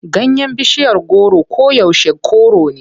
Ganyen bishiyar goro koyaushe kore ne.